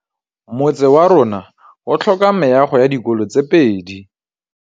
Motse warona o tlhoka meago ya dikolô tse pedi.